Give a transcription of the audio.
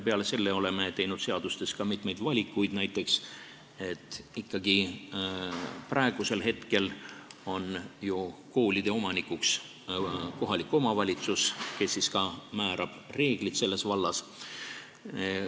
Peale selle oleme teinud seadustes ka mitmeid valikuid, näiteks praegu on ju kooli omanik kohalik omavalitsus, kes määrab ka reeglid selles vallas.